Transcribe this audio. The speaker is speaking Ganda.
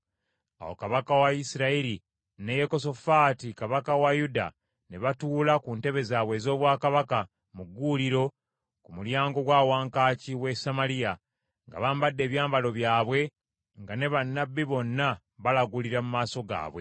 Awo kabaka wa Isirayiri ne Yekosafaati kabaka wa Yuda ne batuula ku ntebe zaabwe ez’obwakabaka mu gguuliro ku mulyango gwa wankaaki w’e Samaliya, nga bambadde ebyambalo byabwe, nga ne bannabbi bonna balagulira mu maaso gaabwe.